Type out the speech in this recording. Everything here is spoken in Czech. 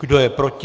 Kdo je proti?